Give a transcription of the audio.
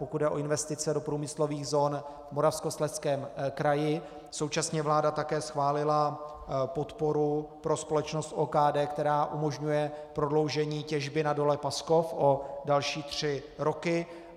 Pokud jde o investice do průmyslových zón v Moravskoslezském kraji, současně vláda také schválila podporu pro společnost OKD, která umožňuje prodloužení těžby na dole Paskov o další tři roky.